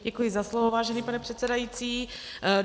Děkuji za slovo, vážený pane předsedající.